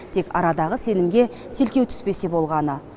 тек арадағы сенімге селкеу түспесе болғаны